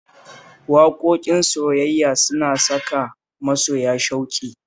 Waƙoƙin soyayya suna saka masoya shauƙi